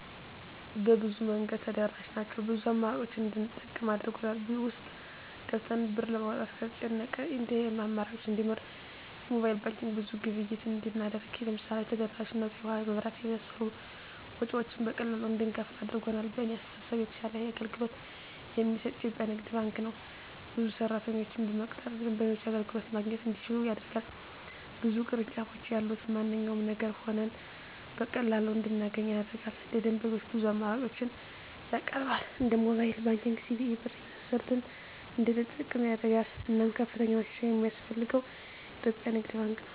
በብዙ መንገድ ተደራሽ ናቸው ብዙ አማራጮችን እንድንጠቀም አድርጎል። ውስጥ ገብተን ብር ለማውጣት ከተጨናነቀ የኤቲኤም አማራጮች እንዲኖር የሞባይል ባንኪንግ ብዙ ግብይት እንድናደርግ ለምሳሌ ተደራሽነቱ የውሀ, የመብራት የመሳሰሉ ወጭወችን በቀላሉ እንድንከፍል አድርጓል። በእኔ አስተሳሰብ የተሻለ አገልግሎት የሚሰጥ የኢትዪጵያ ንግድ ባንክ ነው። ብዙ ሰራተኞችን በመቅጠር ደንበኞች አገልግሎት ማግኘት እንዲችሉ ያደርጋል። ብዙ ቅርንጫፎች ያሉት በማንኛውም አገር ሆነን በቀላሉ እንድናገኝ ያደርጋል። ለደንበኞች ብዙ አማራጮችን ያቀርባል እንደ ሞባይል ባንኪንግ, ሲቢኢ ብር , የመሳሰሉትን እንድንጠቀም ያደርጋል። እናም ከፍተኛ ማሻሻያ የማስፈልገው የኢትዮጵያ ንግድ ባንክ ነው።